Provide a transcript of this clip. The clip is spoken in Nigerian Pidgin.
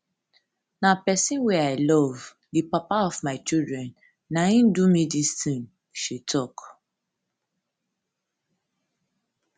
na pesin wey i love di papa of my children na im do me dis tin she um tok